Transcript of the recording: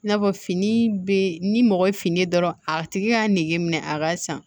I n'a fɔ fini be ni mɔgɔ ye fini dɔrɔn a tigi y'a nege minɛ a ka san